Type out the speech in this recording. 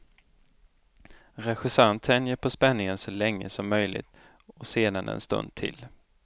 Regissören tänjer på spänningen så länge som möjligt och sedan en stund till.